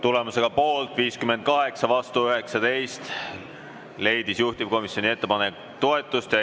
Tulemusega poolt 58 ja vastu 19, leidis juhtivkomisjoni ettepanek toetust.